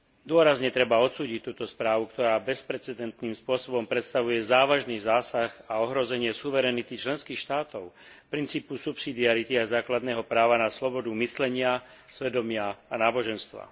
Dôrazne treba odsúdiť túto správu, ktorá bezprecedentným spôsobom predstavuje závažný zásah a ohrozenie suverenity členských štátov, princípu subsidiarity a základného práva na slobodu myslenia, svedomia a náboženstva.